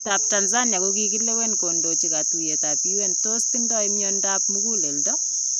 Chitab Tanzania kokakilewen kondochi katuyeetab UN tos tindo myandap muguleldo?